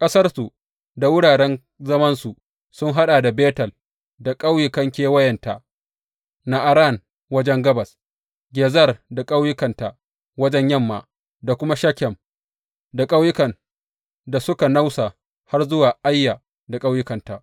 Ƙasarsu da wuraren zamansu sun haɗa da Betel da ƙauyukan kewayenta, Na’aran wajen gabas, Gezer da ƙauyukanta wajen yamma, da kuma Shekem da ƙauyukan da suka nausa har zuwa Aiya da ƙauyukanta.